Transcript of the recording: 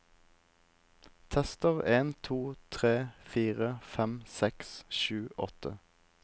Tester en to tre fire fem seks sju åtte